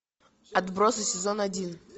отбросы сезон один